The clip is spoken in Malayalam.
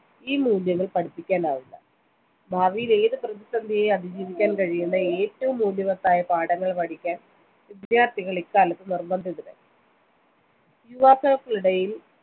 ഈ മൂല്യങ്ങൾ പഠിപ്പിക്കാനാവില്ല ഭാവിയിലെ ഏത് പ്രതിസന്ധിയെയും അതിജീവിക്കുവാൻ കഴിയുന്ന ഏറ്റവും മൂല്യവത്തായ പാഠങ്ങൾ പഠിക്കാൻ വിദ്യാർത്ഥികൾ ഇ കാലത്ത് നിർബന്ധിതരായി യുവാക്കൾക്കിടയിൽ